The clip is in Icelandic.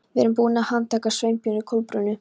Við erum búin að handtaka Sveinbjörn og Kolbrúnu.